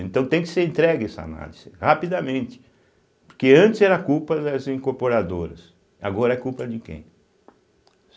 Então tem que ser entregue essa análise rapidamente, porque antes era culpa das incorporadoras, agora é culpa de quem?